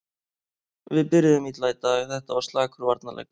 Við byrjuðum illa í dag, þetta var slakur varnarleikur.